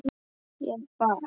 Ég bað